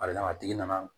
A d'a kan a tigi nana